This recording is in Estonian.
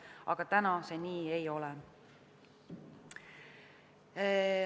Aga täna see nii ei ole.